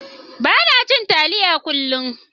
Bana cin taliya kullum.